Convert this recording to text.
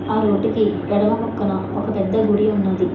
ఆ రూటికి ఎడమ పక్కన ఒక పెద్ద గుడి ఉన్నది.